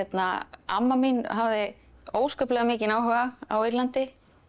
amma mín hafði óskaplega mikinn áhuga á Írlandi